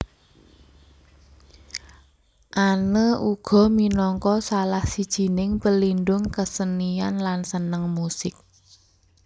Anne uga minangka salah sijining pelindung kesenian lan seneng musik